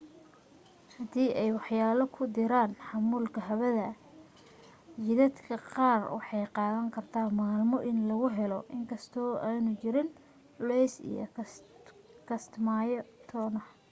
haddii ay waxyaalo ku diraan xamuulka hawada jidadka qaar waxay qaadan kartaa maalmo in lagu helaayi inkastoo aanu jirin culays iyo kastamyo toona